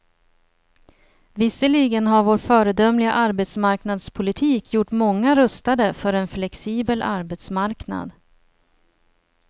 Visserligen har vår föredömliga arbetsmarknadspolitik gjort många rustade för en flexibel arbetsmarknad.